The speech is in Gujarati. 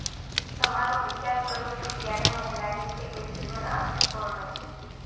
તમારો વિચાર કરું છું ત્યારે મને લાગે છે કે જીવન અર્થપૂર્ણ છે